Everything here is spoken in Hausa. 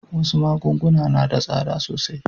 Wasu magunguna na da tsada sosai.